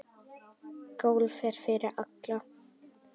Golf er fyrir alla